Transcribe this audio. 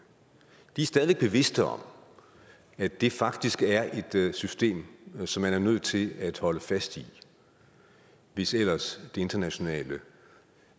de er stadig væk bevidste om at det faktisk er et system som man er nødt til at holde fast i hvis ellers det internationale